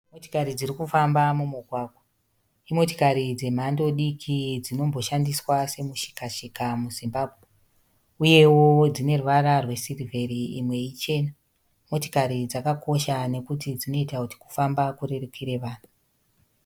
Motikari dzirikufamba mumugwagwa. Imotikari dzemhando diki dzinomboshandiswa semushikashika muZimbabwe, uyewo dzineruvara rwesirivheri imwe ichena. Motikari dzakakosha nekuti dzinoita kuti kufamba kurerukire vanhu.